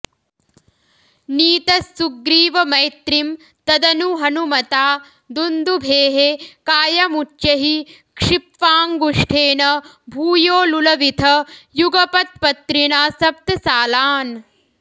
नीतस्सुग्रीवमैत्रीं तदनु हनुमता दुन्दुभेः कायमुच्चैः क्षिप्त्वाङ्गुष्ठेन भूयो लुलविथ युगपत्पत्रिणा सप्त सालान्